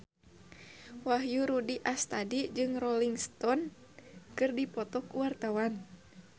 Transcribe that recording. Wahyu Rudi Astadi jeung Rolling Stone keur dipoto ku wartawan